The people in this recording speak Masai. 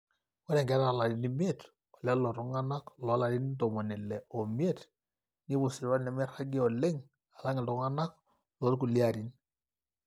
ore nkera oolarin imiet olelo tung'anak loolarin ntomoni ile oimiet nepuo sipitali nemeiragi oleng alang iltung'anak loorkulie arin